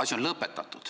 asi on lõpetatud.